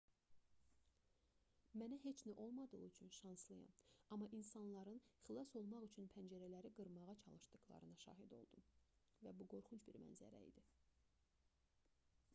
mənə heç nə olmadığı üçün şanslıyam amma insanların xilas olmaq üçün pəncərələri qırmağa çalışdıqlarına şahid oldum və bu qorxunc bir mənzərə idi